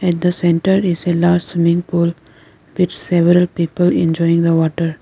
in the centre is a large swimming pool with several people enjoying the water.